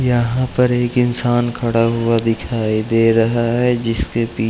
यहाँ पर एक इंसान खड़ा हुआ दिखाई दे रहा है जिसके पी --